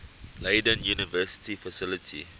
leiden university faculty